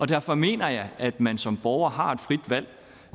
derfor mener jeg at man som borger har et frit valg